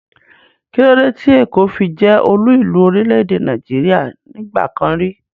Kílódé tí èkó fi jẹ́ olú ìlú orílẹ̀-èdè Nàìjíríà nígbà kan rí?